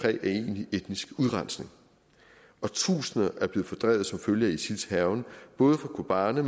af egentlig etnisk udrensning tusinder er blevet fordrevet som følge af isils hærgen både fra kobane